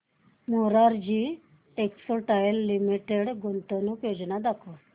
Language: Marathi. मोरारजी टेक्स्टाइल्स लिमिटेड गुंतवणूक योजना दाखव